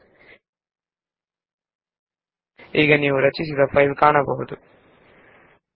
ನಮಗೆ ನೋಡಲು ಸಾಧ್ಯವಾದರೆ ನಾವು ರಚಿಸಿರುವ ಫೈಲ್ ನ್ನು ಈಗ ನೋಡಲು ಪ್ರಯತ್ನಿಸೋಣ